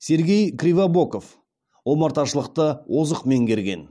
сергей кривобоков омарташылықты озық меңгерген